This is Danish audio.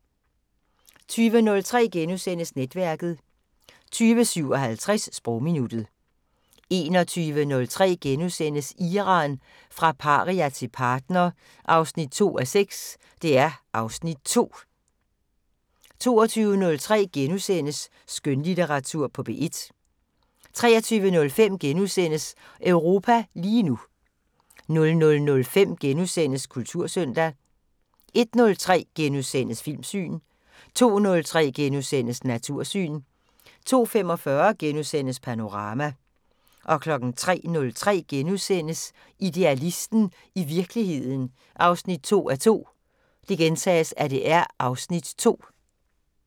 20:03: Netværket * 20:57: Sprogminuttet 21:03: Iran – fra paria til partner 2:6 (Afs. 2)* 22:03: Skønlitteratur på P1 * 23:05: Europa lige nu * 00:05: Kultursøndag * 01:03: Filmland * 02:03: Natursyn * 02:45: Panorama * 03:03: Idealisten – i virkeligheden 2:2 (Afs. 2)*